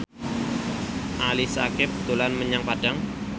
Ali Syakieb dolan menyang Padang